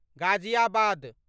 Ghaziabad